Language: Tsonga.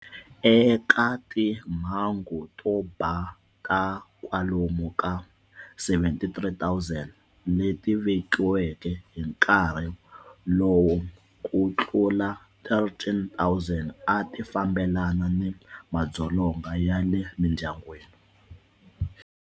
Eka timhangu to ba ta kwalomu ka 73 000 leti vekiweke hi nkarhi lowu, ku tlula 13 000 a ti fambelana ni madzolonga ya le mindyangwini.